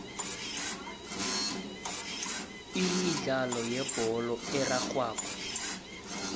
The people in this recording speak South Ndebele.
imidlalo yebholo erarhwako